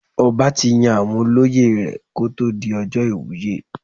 Ọba tí yan àwọn olóyè ẹ̀ kó tó di ọjọ́ ìwúyè.